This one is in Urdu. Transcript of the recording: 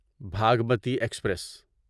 بھاگمتی ایکسپریس